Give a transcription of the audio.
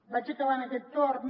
vaig acabant aquest torn